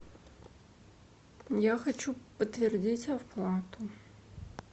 я хочу подтвердить оплату